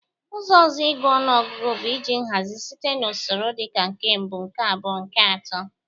Ụzọ ọzọ ịgụ ọnụọgụgụ bụ iji nhazị site n'usoro dị ka nke mbụ, nke abụọ, nke atọ